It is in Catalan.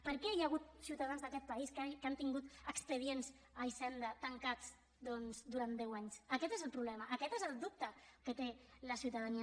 per què hi ha hagut ciutadans d’aquest país que han tingut expedients a hisenda tancats doncs durant deu anys aquest és el problema aquest és el dubte que té la ciutadania